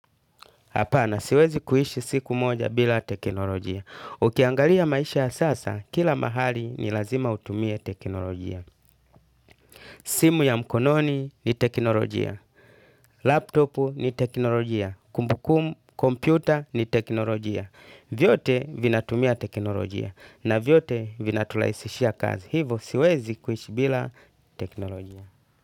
Hapana, siwezi kuishi siku moja bila teknolojia. Ukiangalia maisha ya sasa, kila mahali ni lazima utumie teknolojia. Simu ya mkononi ni teknolojia. Laptopu ni teknolojia. Kumbukum, kompyuta ni teknolojia. Vyote vinatumia teknolojia. Na vyote vinaturahisishia kazi. Hivo, siwezi kuhishi bila teknolojia.